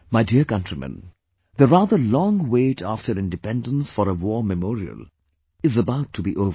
My dear countrymen, the rather long wait after Independence for a War Memorial is about to be over